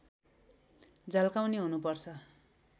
झल्काउने हुनुपर्छ